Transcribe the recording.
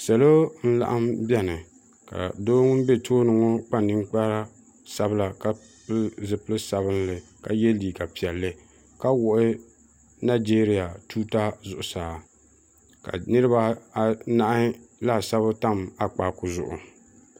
salo n-laɣim beni ka doo ŋun be tooni ŋɔ kpa ninkpar' sabila ka pili zipil' sabilinli ka ye liiga piɛlli ka wuɣi najeeriya tuuta zuɣusaa niriba anahi laasabu tam akpaaku zuɣu